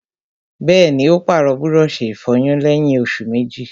Bẹ́ẹ̀ni, ó pàrọ̀ búrọ̀sì ìfọyín lẹ́yìn òsù méjì